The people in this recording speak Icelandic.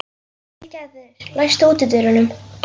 Vilgerður, læstu útidyrunum.